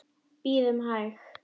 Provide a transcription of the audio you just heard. Bíðum hæg.